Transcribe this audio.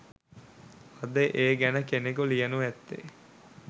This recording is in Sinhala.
අද ඒ ගැන කෙනෙකු ලියනු ඇත්තේ